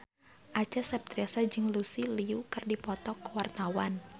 Acha Septriasa jeung Lucy Liu keur dipoto ku wartawan